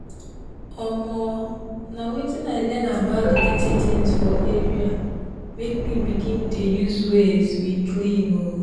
omoo na wetin i learn about the dirty things for area make me begin dey use ways we clean oo.